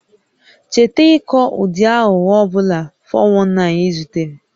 Cheta ịkọ ụdị aghụghọ ọ bụla (419) ị zutere